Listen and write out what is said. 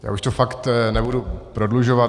Já už to fakt nebudu prodlužovat.